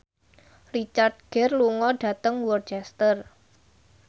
Richard Gere lunga dhateng Worcester